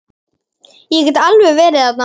Ég get alveg verið þerna.